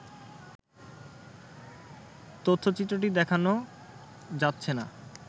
তথ্যচিত্রটি দেখানো যাচ্ছে না